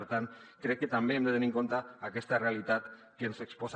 per tant crec que també hem de tenir en compte aquesta realitat que ens exposa